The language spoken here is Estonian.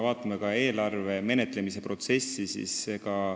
Vaatame eelarve menetlemise protsessi.